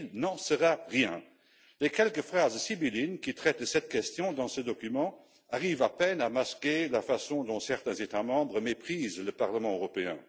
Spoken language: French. Il n'en sera rien. Les quelques phrases sibyllines qui traitent de cette question dans ce document arrivent à peine à masquer la façon dont certains États membres méprisent le Parlement européen.